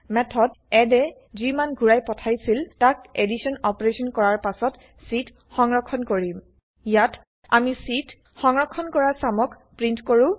method addএ যি মান ঘুৰাই পঠাইছিল তাক এদিছন অপাৰেছন কৰাৰ পাছত c ত সংৰক্ষন কৰিম ইয়াত160 আমি c ত সংৰক্ষন কৰা160 চামক প্ৰীন্ট কৰো